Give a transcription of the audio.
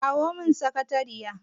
Kira mun sakariyar!